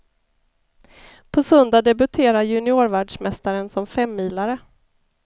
På söndag debuterar juniorvärldsmästaren som femmilare.